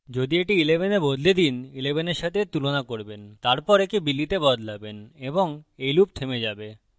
যদি এটি 11 তে বদলে দিন 11 এর সাথে এর তুলনা করবেন তারপর একে billy তে বদলাবেন এবং এই loop থেমে যাবে